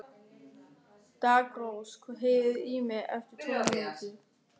Daggrós, heyrðu í mér eftir tólf mínútur.